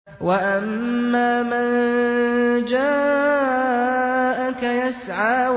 وَأَمَّا مَن جَاءَكَ يَسْعَىٰ